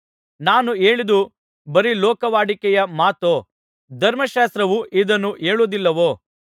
ನಾನು ಹೇಳಿದ್ದು ಬರೀ ಲೋಕವಾಡಿಕೆಯ ಮಾತೋ ಧರ್ಮಶಾಸ್ತ್ರವೂ ಇದನ್ನು ಹೇಳುವುದಿಲ್ಲವೋ